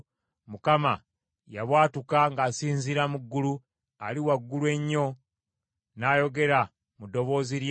Mukama yabwatuka ng’asinziira mu ggulu; Ali Waggulu Ennyo n’ayogera mu ddoboozi lye.